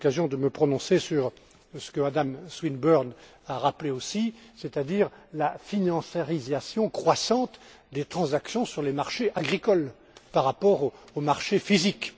J'ai eu l'occasion de me prononcer sur ce que Mme Swinburne a rappelé, c'est à dire la financiarisation croissante des transactions sur les marchés agricoles par rapport aux marchés physiques.